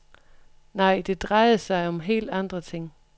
Nej, det drejede sig om helt andre ting.